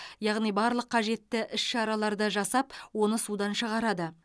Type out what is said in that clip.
яғни барлық қажетті іс шараларды жасап оны судан шығарады